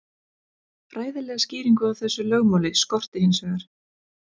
Fræðilega skýringu á þessu lögmáli skorti hins vegar.